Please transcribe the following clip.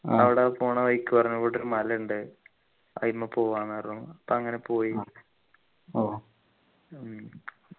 അവിടെ പോണ വഴിക്ക് പറഞ്ഞകൂട്ട് ഒരു മല ണ്ട് അയിമ്മ പോവാ ന്നു പറഞ്ഞു പ്പോ വനജ പോയി ഉം